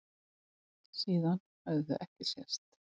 Síðan höfðu þau ekki sést.